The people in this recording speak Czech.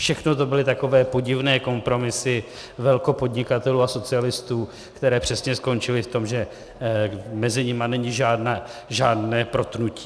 Všechno to byly takové podivné kompromisy velkopodnikatelů a socialistů, které přesně skončily v tom, že mezi nimi není žádné protnutí.